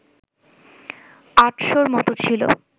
৮০০র মতো ছিল